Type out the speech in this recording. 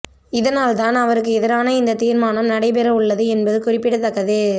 இதனால் தான் அவருக்கு எதிரான இந்த தீர்மானம் நடைபெற உள்ளது என்பது குறிப்பிடத்தக்கது